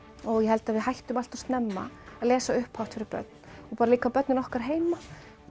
og ég held að við hættum allt of snemma að lesa upphátt fyrir börn og bara líka börnin okkar heima